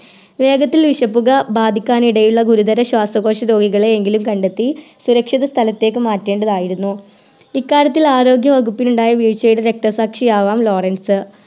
വേഗത്തിൽ വിഷപ്പുക ബാധിക്കാനിടയുള്ള ഗുരുതര ശ്വാസകോശ രോഗികളെയെങ്കിലും കണ്ടെത്തി സുരക്ഷിത സ്ഥലത്തേക്ക് മാറ്റെണ്ടതായിരുന്നു ഇക്കാര്യത്തിൽ ആരോഗ്യ വകുപ്പിനുണ്ടായ വീഴ്ചയുടെ രക്തസാക്ഷിയാകാം ലോറൻസ്